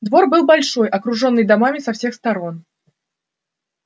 двор был большой окружённый домами со всех сторон